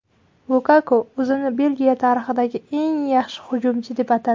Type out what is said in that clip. Lukaku o‘zini Belgiya tarixidagi eng yaxshi hujumchi deb atadi.